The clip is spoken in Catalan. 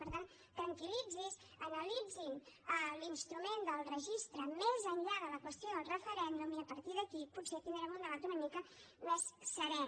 per tant tranquil·litzi’s analitzin l’instrument del registre més enllà de la qüestió del referèndum i a partir d’aquí potser tindrem un debat una mica més serè